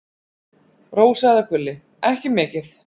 Rósa eða Gulli: Ekki mikið.